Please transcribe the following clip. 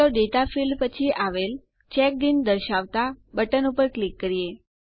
ચાલો data field પછી આવેલ ચેકડિન દર્શાવતાં બટન ઉપર ક્લિક કરીએ